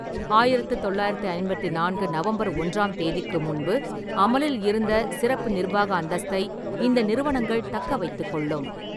ஆயிரத்து தொள்ளாயிரத்தி ஐம்பத்தி நான்கு நவம்பர் ஒன்றாம் தேதிக்கு முன்பு அமலில் இருந்த சிறப்பு நிர்வாக அந்தஸ்தை இந்த நிறுவனங்கள் தக்கவைத்துக் கொள்ளும்.